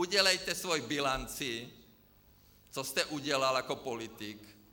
Udělejte svoji bilanci, co jste udělal jako politik.